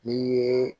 N'i ye